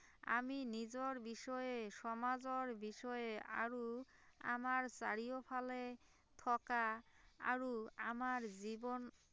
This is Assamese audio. আমি নিজৰ বিষয়ে সমাজৰ বিষয়ে আৰু আমাৰ চাৰিওফালে থকা আৰু আমাৰ জীৱন